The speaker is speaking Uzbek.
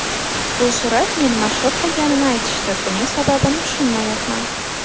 Bu surat meni mashhur qilganini aytishdi, buning sababini tushunmayapman.